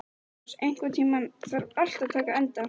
Særós, einhvern tímann þarf allt að taka enda.